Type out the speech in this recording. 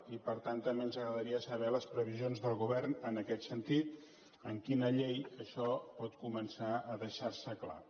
i per tant també ens agradaria saber les previsions del govern en aquest sentit en quina llei això pot començar a deixar se clar